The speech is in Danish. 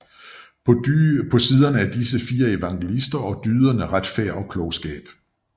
På siderne de fire evangelister og dyderne Retfærd og Klogskab